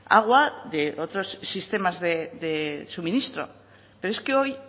agua de otros sistemas de suministro pero es que hoy